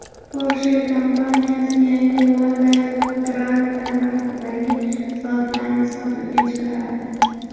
Porsche kompaniyasi yangi Lada Granta narxidagi soatlarni sotuvga chiqaradi.